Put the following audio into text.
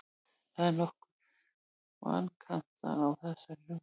Það eru nokkrir vankantar á þessari hugmynd.